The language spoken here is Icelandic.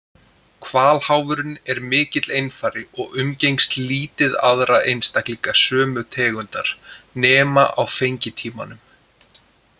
Hvalháfurinn er mikill einfari og umgengst lítið aðra einstaklinga sömu tegundar nema á fengitímanum.